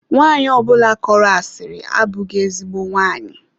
Nwanyi ọbụla kọrọ asiri abụghị ezigbo nwaanyị.